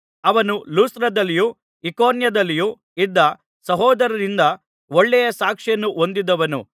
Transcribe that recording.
ಅವನು ಲುಸ್ತ್ರದಲ್ಲಿಯೂ ಇಕೋನ್ಯದಲ್ಲಿಯೂ ಇದ್ದ ಸಹೋದರರಿಂದ ಒಳ್ಳೆಯ ಸಾಕ್ಷಿಯನ್ನು ಹೊಂದಿದ್ದವನು